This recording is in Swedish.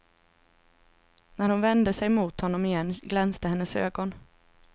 När hon vände sig mot honom igen glänste hennes ögon.